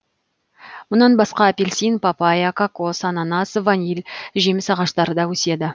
мұнан басқа апельсин папайя кокос ананас ваниль жеміс ағаштары да өседі